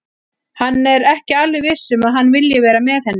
Hann er ekki alveg viss um að hann vilji vera með henni.